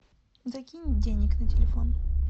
закинь денег на телефон